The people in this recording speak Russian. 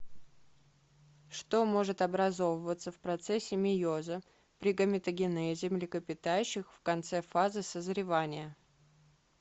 что может образовываться в процессе мейоза при гаметогенезе млекопитающих в конце фазы созревания